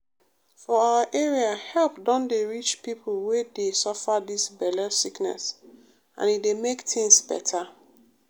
for our area help don dey reach people wey dey suffer dis belle sickness and e dey make tins beta.